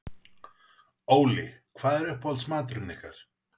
Óli: Hvað er uppáhaldsmaturinn ykkar?